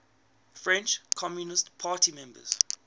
french communist party members